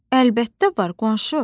Əlbəttə var, qonşu,